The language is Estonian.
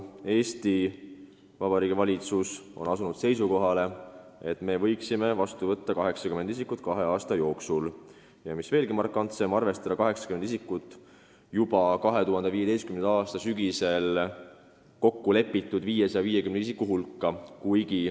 Eesti Vabariigi valitsus on paraku asunud seisukohale, et me võiksime vastu võtta kahe aasta jooksul 80 isikut ja mis veelgi markantsem, arvestada need 80 isikut 2015. aasta sügisel kokkulepitud 550 isiku hulka.